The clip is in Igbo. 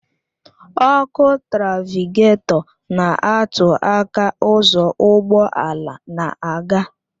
Ọkụ trafịgatọ na-atụ aka ụzọ ụgbọ ala na-aga